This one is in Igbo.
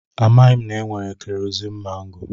Amaghị m na-enwere keroziin mangoo.